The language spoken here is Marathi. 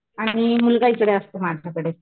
आणि मी काय इकडे असतो माझ्याकडे.